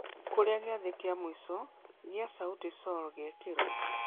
kũrĩa gĩathĩ ya mũico ya Sauti Sol gĩekĩirwo